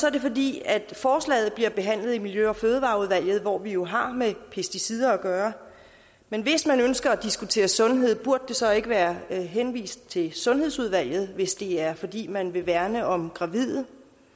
er det fordi forslaget bliver behandlet i miljø og fødevareudvalget hvor vi jo har med pesticider at gøre men hvis man ønsker at diskutere sundhed burde det så ikke være henvist til sundhedsudvalget hvis det er fordi man vil værne om gravide